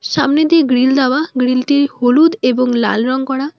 সামনে দিয়ে গ্রীল দেওয়া গ্রীলটি হলুদ এবং লাল রং করা।